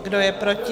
Kdo je proti?